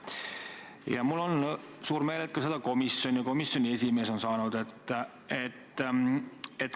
Ja mul on hea meel, et komisjon ja komisjoni esimees on ka neid saanud.